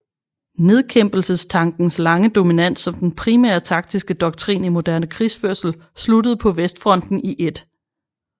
Nedkæmpelsestankens lange dominans som den primære taktiske doktrin i moderne krigsførelse sluttede på Vestfronten i 1